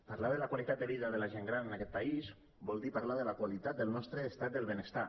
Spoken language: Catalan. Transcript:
parlar de la qualitat de la vida de la gent gran en aquest país vol dir parlar de la qualitat del nostre estat del benestar